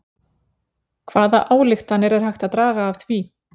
Hvaða ályktanir er hægt að draga af því?